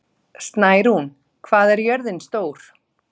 Snærún, hvað er jörðin stór?